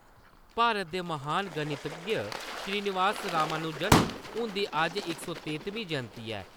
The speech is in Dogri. भारत दे महान गणितज्ञ श्रीनिवास रामानुजन हुन्दी अज्ज इक सौ तेत्तमीं जयंति ऐ।